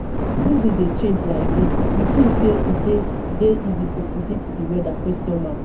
as seasons dey change like dis you think say e dey dey easy to predict di weather?